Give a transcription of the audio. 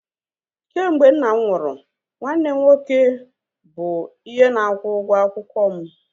Kemgbe nna m nwụrụ, nwanne nne m nke nwoke bụ ihe na-akwụ ụgwọ akwụkwọ m